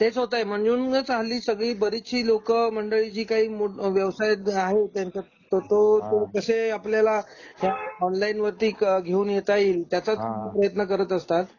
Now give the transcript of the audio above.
तेच होतंय. म्हणूनच हल्ली सगळी बरीचशी लोकं मंडळी जी काही व्यवसायात आहे त्यांचा तो हा तो तसे आपल्याला ऑनलाइन वर घेऊन येता येईल हा त्याचा प्रयत्न करत असतात.